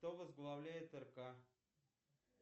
кто возглавляет рк